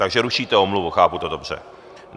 Takže rušíte omluvu, chápu to dobře.